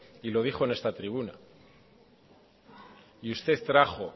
y lo dijo en esta tribuna y usted trajo